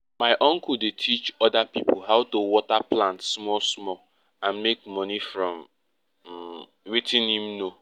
my uncle dey teach oda pipo how to water plants small small and make money from um wetin him know